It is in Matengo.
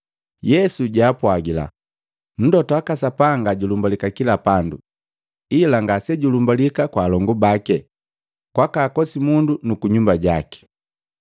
Yesu ampwagila, “Mlota waka Sapanga julumbalika kila pandu ila ngasejulumbalika kwa alongu baki, kwaka akosimundu nu kunyumba jaki.”